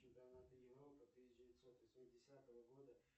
чемпионат европы тысяча девятьсот восьмидесятого года